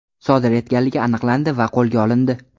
sodir etganligi aniqlandi va qo‘lga olindi.